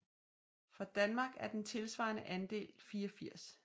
For Danmark er den tilsvarende andel 84